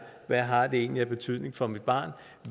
hvad har det egentlig af betydning for mit barn